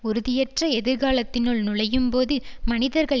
உறுதியற்ற எதிர்காலத்தினுள் நுழையும்போது மனிதர்கள்